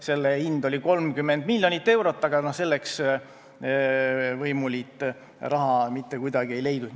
Selle hind oli 30 miljonit eurot, aga selleks võimuliit raha mitte kuidagi ei leidnud.